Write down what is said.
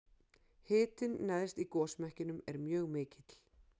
hitinn neðst í gosmekkinum er mjög mikill